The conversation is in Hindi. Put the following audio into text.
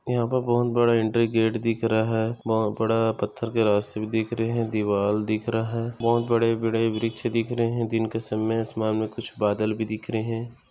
यहा पे बहुत बड़ा एंट्री गेट दिख रहा है बहुत बड़ा पत्थर के रास्ते भी दिख रहे है दीवार दिख रहा है बहुत बड़े बड़े वृक्ष दिख रहे है दिन का समय आसमान मैं कुछ बादल भी दिख रहे है।